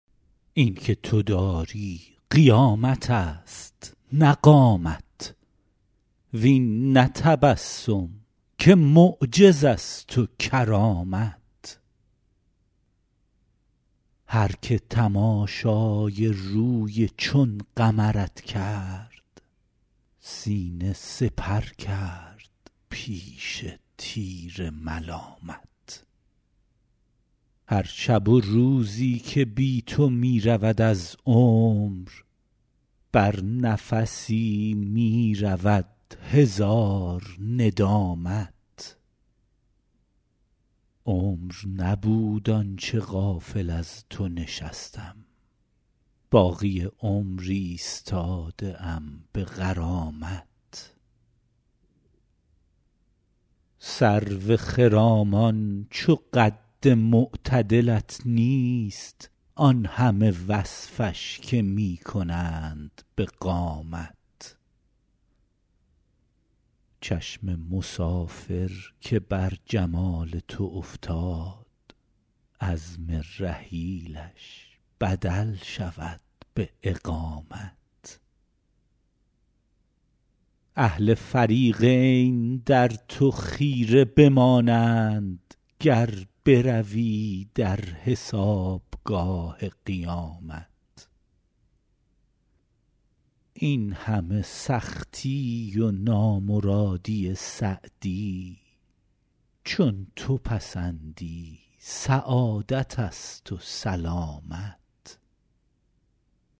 این که تو داری قیامت است نه قامت وین نه تبسم که معجز است و کرامت هر که تماشای روی چون قمرت کرد سینه سپر کرد پیش تیر ملامت هر شب و روزی که بی تو می رود از عمر بر نفسی می رود هزار ندامت عمر نبود آن چه غافل از تو نشستم باقی عمر ایستاده ام به غرامت سرو خرامان چو قد معتدلت نیست آن همه وصفش که می کنند به قامت چشم مسافر که بر جمال تو افتاد عزم رحیلش بدل شود به اقامت اهل فریقین در تو خیره بمانند گر بروی در حسابگاه قیامت این همه سختی و نامرادی سعدی چون تو پسندی سعادت است و سلامت